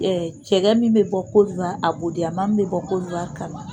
cɛgɛ min bɛ bɔ Kodiwari, abodiyama min bɛ bɔ kodiwari ka na